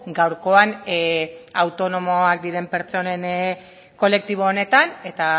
gaurkoan autonomoak diren pertsonen kolektibo honetan eta